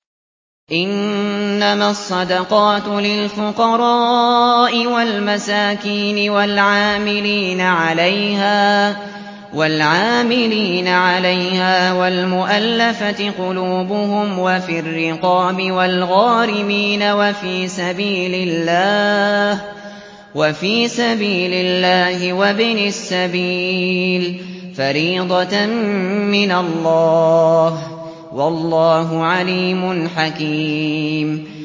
۞ إِنَّمَا الصَّدَقَاتُ لِلْفُقَرَاءِ وَالْمَسَاكِينِ وَالْعَامِلِينَ عَلَيْهَا وَالْمُؤَلَّفَةِ قُلُوبُهُمْ وَفِي الرِّقَابِ وَالْغَارِمِينَ وَفِي سَبِيلِ اللَّهِ وَابْنِ السَّبِيلِ ۖ فَرِيضَةً مِّنَ اللَّهِ ۗ وَاللَّهُ عَلِيمٌ حَكِيمٌ